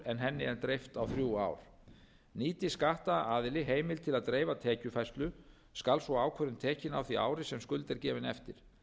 henni er dreift já þrjú ár nýti skattaðili heimild til að dreifa tekjufærslu skal sú ákvörðun tekin á því ári sem skuld er gefin eftir